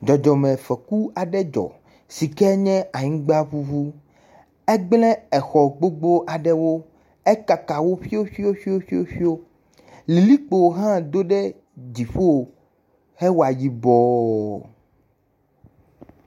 Dzɔdzɔmefɔku aɖe dzɔ sike nye anyigba bubu, egblẽ exɔ gbogbo aɖewo. Ekaka wo ƒioƒioƒio, likpo hã ɖo ɖe dziƒo hewa yibɔɔ.